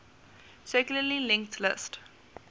circularly linked list